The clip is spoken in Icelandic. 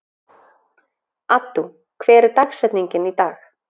Addú, hver er dagsetningin í dag?